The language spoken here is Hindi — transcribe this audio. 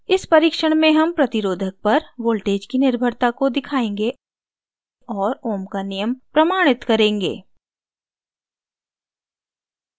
इस परीक्षण में हम प्रतिरोधक resistor पर voltage की निर्भरता को दिखायेंगे और ohms का नियम प्रमाणित करेंगे